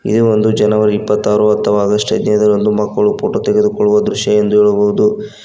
ಇದು ಒಂದು ಜನವರಿ ಇಪ್ಪತ್ತಾರು ಅಥವಾ ಆಗಸ್ಟ್ ಹದಿನೖದರಂದು ಮಕ್ಕಳು ಫೋಟೋ ತೆಗೆದುಕೊಳ್ಳುವ ದೃಶ್ಯ ಎಂದು ಹೇಳಬಹುದು.